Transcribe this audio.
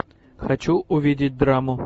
хочу увидеть драму